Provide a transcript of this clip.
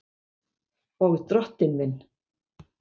Og Drottinn minn!